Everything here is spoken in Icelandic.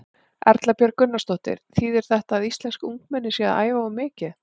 Erla Björg Gunnarsdóttir: Þýðir þetta að íslensk ungmenni séu að æfa of mikið?